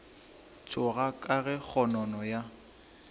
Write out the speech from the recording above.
tšhoga ka ge kgonono ya